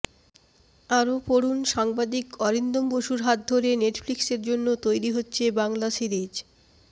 আরও পড়ুন সাংবাদিক অরিন্দম বসুর হাত ধরে নেটফ্লিক্সের জন্য তৈরি হচ্ছে বাংলা সিরিজ